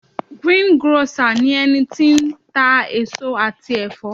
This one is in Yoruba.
greengrocer ni eni ti n eso ati efo